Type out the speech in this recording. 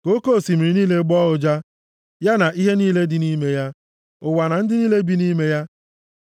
Ka oke osimiri niile gbọọ ụja, ya na ihe niile dị nʼime ya, ụwa na ndị niile bi nʼime ya.